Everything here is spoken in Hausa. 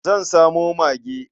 Zan samo mage.